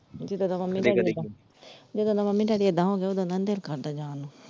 ਜਦੋਂ ਦਾ mummy ਜਦੋ ਦਾ mummy daddy ਏਦਾਂ ਹੋਗੇ ਓਦੋਂ ਦਾ ਨੀ ਦਿਲ ਕਰਦਾ ਜਾਣ ਨੂੰ।